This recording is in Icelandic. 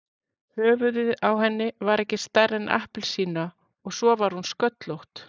Höfuðið á henni var ekki stærra en appelsína og svo var hún sköllótt.